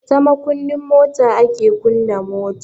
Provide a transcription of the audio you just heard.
Ta makunnin mota ake kunna mota.